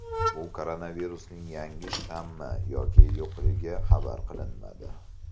Bu koronavirusning yangi shtammi yoki yo‘qligi xabar qilinmadi.